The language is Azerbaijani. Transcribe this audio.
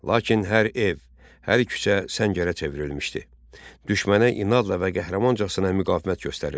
Lakin hər ev, hər küçə səngərə çevrilmişdi, düşmənə inadla və qəhrəmancasına müqavimət göstərirdi.